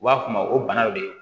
U b'a f'o ma o banaw de ye